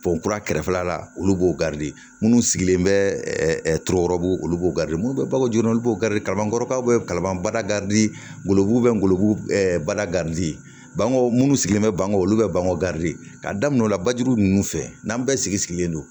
Pɔn kura kɛrɛfɛla la olu b'o minnu sigilen bɛ turu olu b'o minnu bɛ bako joona olu b'o kalankɔrɔbada golobugu bɛ bada baw munnu sigilen bɛ bangeko olu bɛ bamakɔ ka daminɛ o la bajuru ninnu fɛ n'an bɛɛ sigilen don